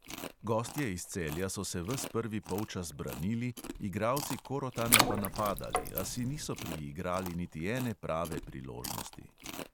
Gostje iz celja so se ves prvi polčas branili, igralci korotana pa napadali, a si niso priigrali niti ene prave priložnosti.